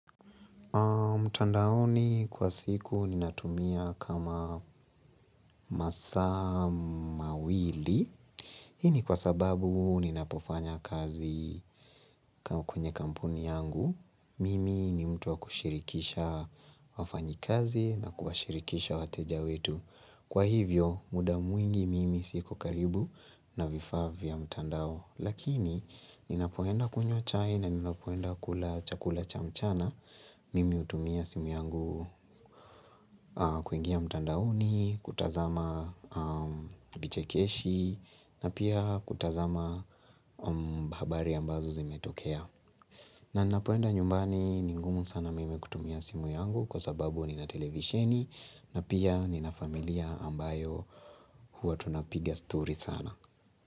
Mtandaoni kwa siku ninatumia kama masaa mawili Hii ni kwa sababu ninapofanya kazi kwenye kampuni yangu Mimi ni mtu wa kushirikisha wafanyikazi na kuwashirikisha wateja wetu Kwa hivyo muda mwingi mimi siko karibu na vifaa vya mtandao Lakini ninapoenda kunywa chai na ninapoenda kula chakula cha mchana Mimi hutumia simu yangu kuingia mtandaoni, kutazama vichekeshi na pia kutazama habari ambazo zimetokea na napoenda nyumbani ni ngumu sana mimi kutumia simu yangu kwa sababu nina televisheni na pia nina familia ambayo huwa tunapiga story sana.